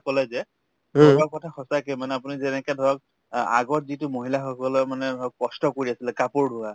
কলে যে আগৰ কথা সঁচাকে মানে আপুনি যেনেকে ধৰক অ আগত যিটো মহিলা সকলৰ মানে ধৰক কষ্ট কৰি আছিলে কাপোৰ ধুৱা